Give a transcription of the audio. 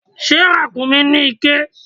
Ṣé ràkúnmí ní iké?